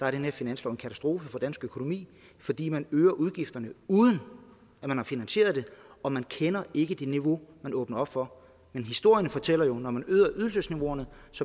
er den her finanslov en katastrofe for dansk økonomi fordi man øger udgifterne uden man har finansieret det og man kender ikke det niveau man åbner op for men historierne fortæller jo at når man øger ydelsesniveauer